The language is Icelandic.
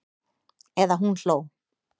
Eða hún hló.